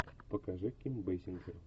покажи ким бесинджер